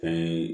Ayi